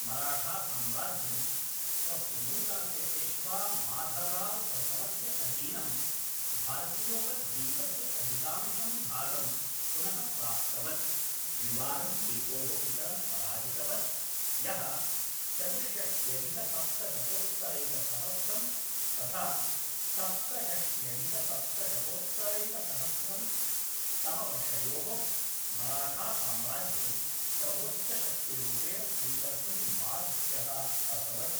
मराठासाम्राज्यं, स्वस्य नूतनस्य पेश्वा माधवराव् प्रथमस्य अधीनं, भारतीयोपद्वीपस्य अधिकांशं भागं पुनः प्राप्तवत्, द्विवारं टीप्पोः पितरं पराजितवत्, यः चतुष्षष्ठ्यधिकसप्तशतोत्तरैकसहस्रं तथा सप्तषष्ठ्यधिकसप्तशतोत्तरैकसहस्रं तमवर्षयोः मराठासाम्राज्यं सर्वोच्चशक्तिरूपेण स्वीकर्तुं बाध्यः अभवत्।